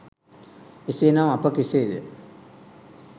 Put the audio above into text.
එසේ නම් අප කෙසේ ද